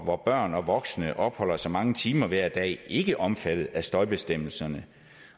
hvor børn og voksne opholder sig mange timer hver dag ikke omfattet af støjbestemmelserne